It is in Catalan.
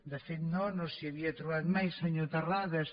de fet no no s’hi havia trobat mai senyor terrades